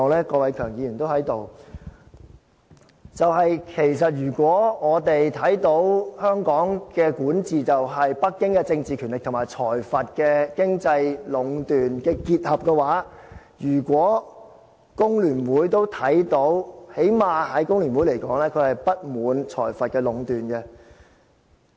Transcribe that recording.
郭偉强議員現在都在這裏，因為如果我們看到香港的管治就是，北京政治權力壟斷和財閥經濟壟斷的結合，如果工聯會都看到的話，起碼就工聯會來說，它會對財閥壟斷不滿。